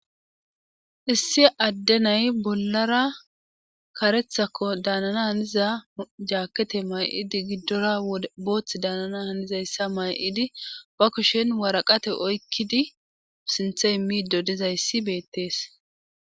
issi addenay bollara karethako daanana haniza jaakete may7idi giddora boothth daanana hanizayssa may7idi ba kushen waraqate oykkidi sinthe immido dizayssi beettees